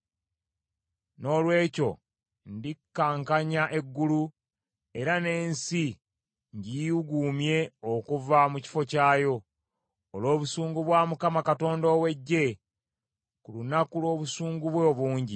Noolwekyo ndikankanya eggulu, era n’ensi ngiyuuguumye okuva mu kifo kyayo, olw’obusungu bwa Mukama Katonda ow’Eggye, ku lunaku lw’obusungu bwe obungi.